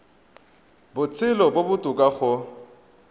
botshelo jo bo botoka go